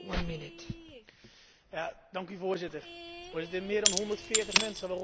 Meer dan 140 mensen, waaronder 134 schoolkinderen, zijn afgeslacht.